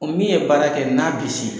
O min ye baara kɛ n'a kisi